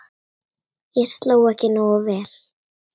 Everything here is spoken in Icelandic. Ég sló ekki nógu vel.